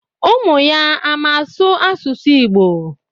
Umuya ama asu asusu Igbo?